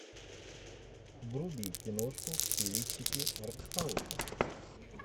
вруби киношку в стилистике арт хауса